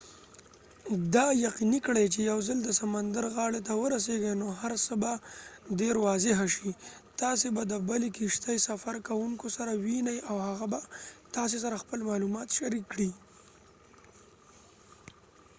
دا یقیني کړئ چې یو ځل د سمندر غاړې ته ورسیږئ نو هر څه به دیر واضح شي تاسې به د د بلې کښتۍ سفرکوونکو سره ووینۍ او هغه به تاسې سره خپل معلومات شریک کړي